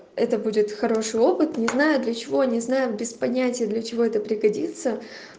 это будет хороший опыт не знаю для чего не знаю без понятия для чего это пригодится